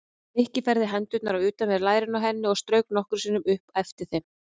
Nikki færði hendurnar á utanverð lærin á henni og strauk nokkrum sinnum upp eftir þeim.